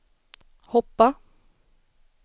hoppa